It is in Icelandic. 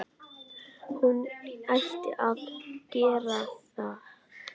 Hann ætti að gera það.